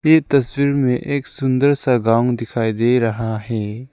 ये तस्वीर में एक सुंदर सा गांव दिखाई दे रहा है।